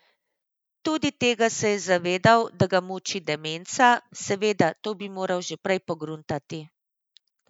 Tudi tega se je zavedal, da ga muči demenca, seveda, to bi moral že prej pogruntati.